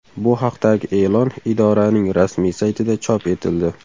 Bu haqdagi e’lon idoraning rasmiy saytida chop etildi .